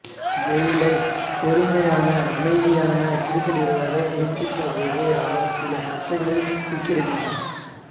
கெய்லை பொறுமையான அமைதியான கிரிக்கெட் வீரராகக் குறிப்பிட்ட போதும் அவர் சில சர்ச்சைகளில் சிக்கியிருக்கின்றார்